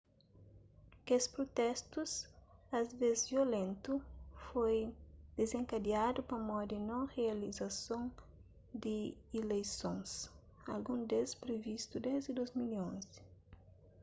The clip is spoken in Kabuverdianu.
kes prutestus asvés violentu foi dizenkadiadu pamodi non rializason di ileisons algun des privistu desdi 2011